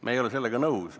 Me ei ole sellega nõus.